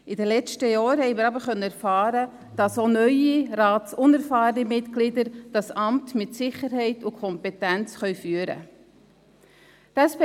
In den letzten Jahren konnten wir erfahren, dass auch neue, ratsunerfahrene Mitglieder dieses Amt mit Sicherheit und Kompetenz ausüben können.